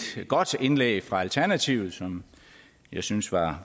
godt indlæg fra alternativet som jeg synes var